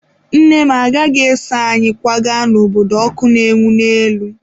Nne m agaghị eso anyị kwaga n'obodo ọkụ na-enwu n'elu.